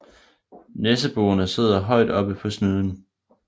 Næseborene sidder højt oppe på snuden